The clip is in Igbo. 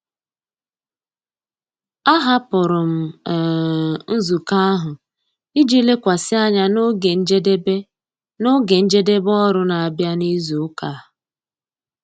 Ahapụrụ m um nzukọ ahụ iji lekwasị anya na oge njedebe na oge njedebe ọrụ na-abịa n'izu ụka a.